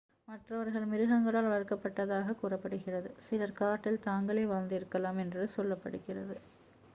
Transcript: மற்றவர்கள் மிருகங்களால் வளர்க்கப்பட்டதாக கூறப்படுகிறது சிலர் காட்டில் தாங்களே வாழ்ந்திருக்கலாம் என்று சொல்லப்படுகிறது